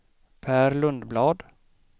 Pär Lundblad